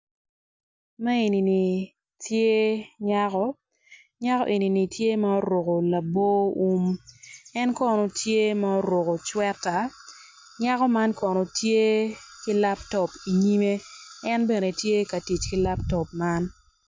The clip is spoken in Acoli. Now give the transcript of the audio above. Man eni tye nyako nyakoni oruko labo wum en kono tye ma oruko cweta nyako man kono tye ki laptop i nyimme en bene tye ka tic ki laptop man.